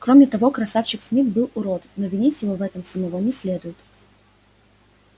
короче говоря красавчик смит был урод но винить в этом его самого не следует